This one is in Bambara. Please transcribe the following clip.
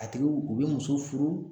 A tigiw u bɛ muso furu